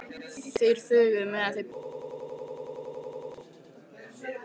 Þeir þögðu meðan þeir biðu eftir þjóninum.